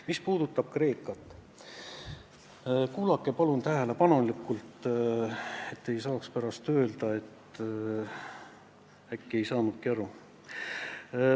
Mis puudutab Kreekat, siis kuulake palun tähelepanelikult, et pärast ei saaks öelda, et ei saanud aru.